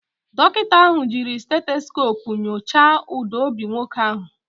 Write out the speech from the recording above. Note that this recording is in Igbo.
Dọkịta ahụ jiiri stetoskopu nyochaa ụda obi nwoke ahụ